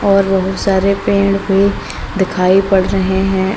और बहुत सारे पेड़ भी दिखाई पड़ रहे हैं।